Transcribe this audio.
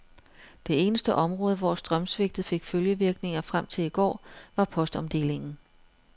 Det eneste område, hvor strømsvigtet fik følgevirkninger frem til i går, var postomdelingen.